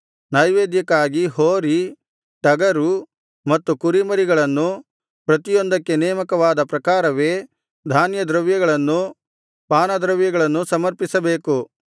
ನೈವೇದ್ಯಕ್ಕಾಗಿ ಹೋರಿ ಟಗರು ಮತ್ತು ಕುರಿಮರಿಗಳನ್ನು ಪ್ರತಿಯೊಂದಕ್ಕೆ ನೇಮಕವಾದ ಪ್ರಕಾರವೇ ಧಾನ್ಯದ್ರವ್ಯಗಳನ್ನೂ ಪಾನದ್ರವ್ಯಗಳನ್ನೂ ಸಮರ್ಪಿಸಬೇಕು